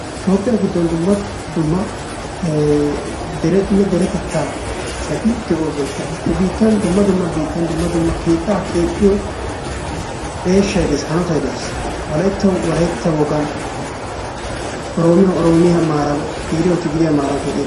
Toophphiya giddon dumma dumma derenne deretettaa asati de'oosona. He biittan dumma dumma biittan keettaa keexxiyo eeshshay dees, hanotay dees. Wolayttawu wolaytta wogan, Oroomiyawu oroomiya maaran Tigiriyawu tigiriya maaran keexettees.